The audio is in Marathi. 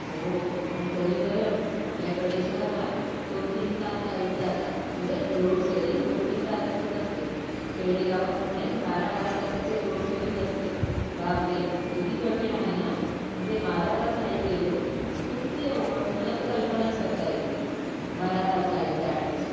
हो पण तरी बर आपल्या कडे शहरात दोन तीन तास लाईट जातात म्हणजे लोड शेरिंग दोन तीन तासाचीच असते खेडे गावात म्हणे बारा बारा तासाची लोड शेरिंग असते बापरे किती कठीण आहे ना म्हणजे बारा तास लाईट गेले त किती अवघड मला तर कल्पनाच करता येत नाही बारा तास लाईट जाण्याची